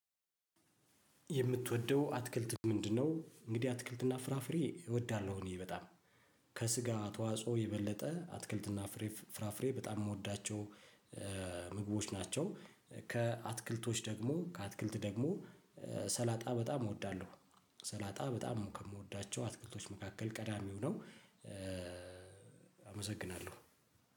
የምትወደው አትክልት ምንድነው? እንግዲህ አትክልትና ፍራፍሬ እወዳለሁ እኔ በጣም ከስጋ ተዋጽኦ የበለጠ አትክልትና ፍራፍሬ በጣም ምወዳቸው ምግቦች ናቸው። ከአትክልቶች ደግሞ ከአትክልት ደግሞ ሰላጣ በጣም እወዳለሁ ሰላጣ በጣም ከምወዳቸው አትክልቶች መካከል ቀዳሚው ነው። አመሰግናለሁ።